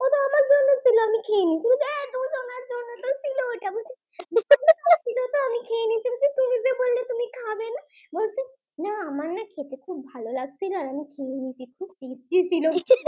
আমার না খেতে খুব ভালো লাগছিল আমি না খেয়ে নিয়েছি খুব Tasty ছিল